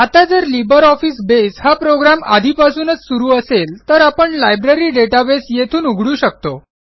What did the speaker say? आता जर LibreOffice Base हा प्रोग्रॅम आधीपासूनच सुरू असेल तर आपण लायब्ररी डेटाबेस येथून उघडू शकतो